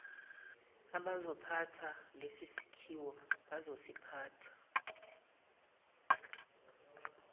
abazophatha lesisakhiwo bazosiphatha